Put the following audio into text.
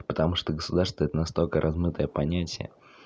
потому что государство это настолько размытое понятие